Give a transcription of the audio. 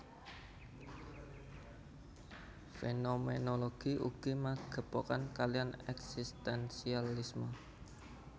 Fénoménologi ugi magepokan kaliyan èksistènsialisme